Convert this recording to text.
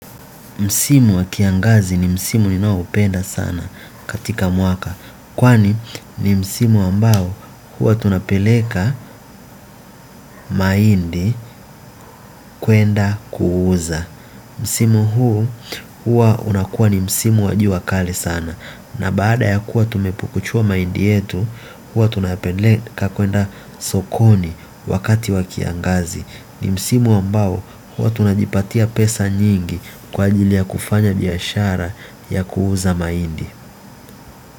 Msimu wa kiangazi ni msimu ninaoupenda sana katika mwaka. Kwani ni msimu ambao huwa tunapeleka mahindi kwenda kuuza. Msimu huu huwa unakuwa ni msimu wa jua kali sana. Na baada ya kuwa tumepukuchua mahindi yetu huwa tunapeleka kwenda sokoni wakati wa kiangazi ni msimu ambao huwa tunajipatia pesa nyingi kwa ajili ya kufanya biashara ya kuuza mahindi.